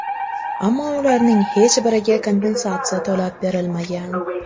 Ammo ularning hech biriga kompensatsiya to‘lab berilmagan.